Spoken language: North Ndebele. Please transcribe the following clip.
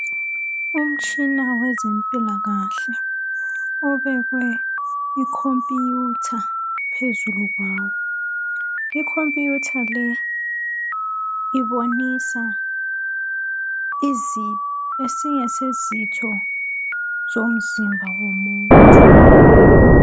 Umtshina wezempilakahle obekwe I computer phezulu kwawo.I computer le ibonisa esenye sezitho zomzimba womuntu.